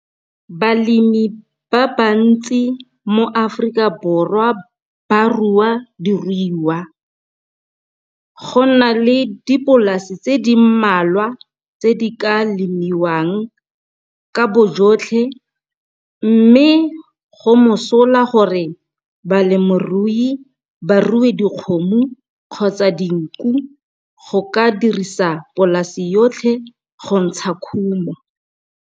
Balemi ba bantsi mo Afrika Borwa ba rua diruiwa go na le dipolase tse di mmalwa tse di ka lemiwang ka boyotlhe mme go mosola gore balemirui ba rue dikgomo kgotsa dinku ka go dirisa polase yotlhe go ntsha khumo.